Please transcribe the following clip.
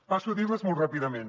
passo a dirles molt ràpidament